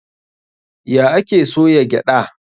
Ya ake soya gyaɗa?